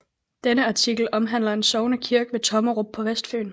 Denne artikel omhandler en sognekirke ved Tommerup på Vestfyn